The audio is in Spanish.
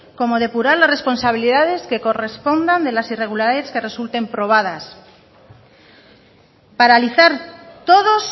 como depurar las responsabilidades que correspondan de las irregularidades que resulten probadas paralizar todos